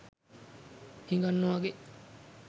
හිඟන්නෝ වගේ